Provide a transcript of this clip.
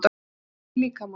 Áfengi í líkamanum